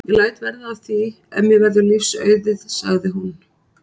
Ég læt verða af því ef mér verður lífs auðið sagði hún.